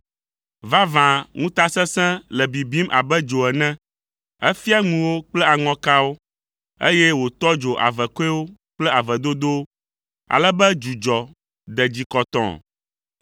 Vavã ŋutasesẽ le bibim abe dzo ene. Efia ŋuwo kple aŋɔkawo, eye wòtɔ dzo avekɔewo kple avedodowo, ale be dzudzɔ de dzi kɔtɔɔ.